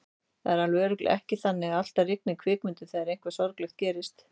Það er alveg örugglega ekki þannig að alltaf rigni í kvikmyndum þegar eitthvað sorglegt gerist.